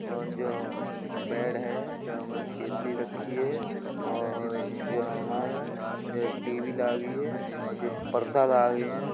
और जो बेड है जहाँ में केतली रखी है और जहां में ये टीवी लागी है और जे पर्दा लागे हैं।